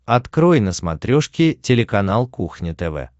открой на смотрешке телеканал кухня тв